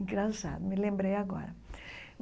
Engraçado, me lembrei agora.